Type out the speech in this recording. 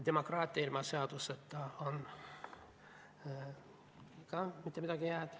Demokraatia ilma seadusteta ei ole ka mitte midagi head.